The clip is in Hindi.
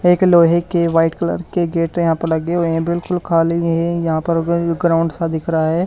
एक लोहे के व्हाइट कलर के गेट यहां पर लगे हुए हैं बिल्कुल खाली है यहां पर अग ग्राउंड सा दिख रहा है।